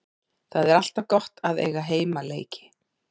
Það er alltaf gott að eiga heimaleiki.